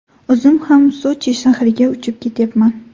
O‘zim ham Sochi shahriga uchib ketyapman.